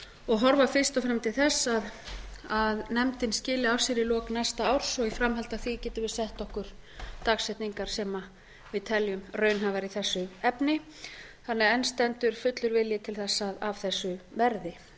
og horft fyrst og fremst til þess að nefndin skili af sér í lok næsta árs og í framhaldi af því getum við sett okkur dagsetningar sem við teljum raunhæfar í þessu efni þannig að enn stendur fullur vilji til þess að af þessu verði